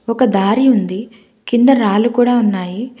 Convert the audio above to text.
ఒక దారి ఉంది కింద రాళ్లు కూడా ఉన్నాయి.